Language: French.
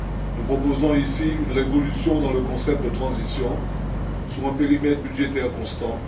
Nous proposons ici une révolution dans le concept de transition sur un périmètre budgétaire constant.